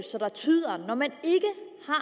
om at